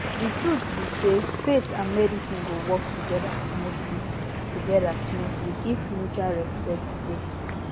the truth be sayfaith and medicine go work together smoothly together smoothly if mutual respect dey